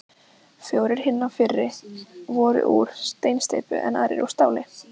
Fjórir hinna fyrri voru úr steinsteypu, en aðrir úr stáli.